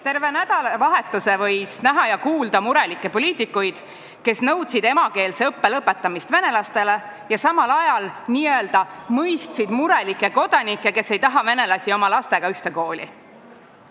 Terve nädalavahetuse võis näha ja kuulda murelikke poliitikuid, kes nõudsid emakeelse õppe lõpetamist venelastele ja samal ajal n-ö mõistsid murelikke kodanikke, kes ei taha venelasi oma lastega ühte kooli.